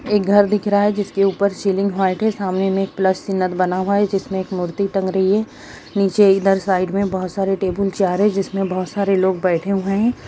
एक घर दिख रहा है जिसकी सीलिंग व्हाइट है सामने में एक प्लस सिंबल बना हुआ है जिसमें एक मूर्ति टांग रही है नीचे इधर साइड में बहुत सारे टेबुल चेयर है जिसमें बहुत सारे लोग बैठे हुए हैं।